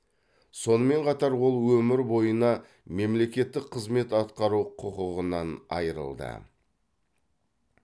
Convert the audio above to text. сонымен қатар ол өмір бойына мемлекеттік қызмет атқару құқығынан айырылды